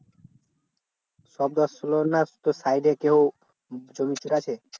শব্দ আর তোর side এ কেউ জমি ক্ষেত আছে?